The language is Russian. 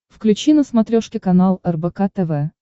включи на смотрешке канал рбк тв